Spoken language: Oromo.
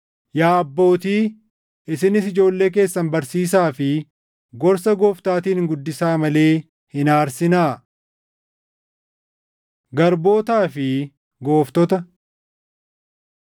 Yaa abbootii, isinis ijoollee keessan barsiisaa fi gorsa Gooftaatiin guddisaa malee hin aarsinaa. Garbootaa fi Gooftota